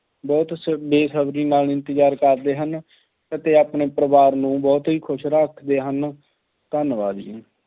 ਬਹੁਤ ਸ~ ਬੇਸਬਰੀ ਨਾਲ ਇੰਤਜ਼ਾਰ ਕਰਦੇ ਹਨ ਅਤੇ ਆਪਣੇ ਪਰਿਵਾਰ ਨੂੰ ਬਹੁਤ ਹੀ ਖੁਸ਼ ਰੱਖਦੇ ਹਨ। ਧੰਨਵਾਦ ਜੀ।